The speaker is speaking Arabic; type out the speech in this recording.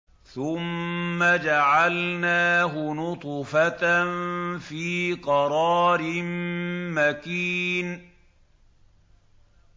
ثُمَّ جَعَلْنَاهُ نُطْفَةً فِي قَرَارٍ مَّكِينٍ